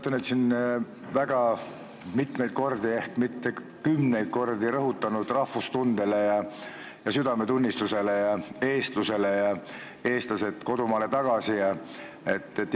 Te olete siin väga mitu korda, ehk isegi kümneid kordi rõhunud rahvustundele ja südametunnistusele ja eestlusele ja loosungile "Eestlased kodumaale tagasi!".